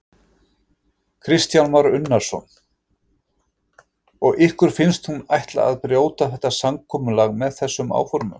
Kristján Már Unnarsson: Og ykkur finnst hún ætla að brjóta þetta samkomulag með þessum áformum?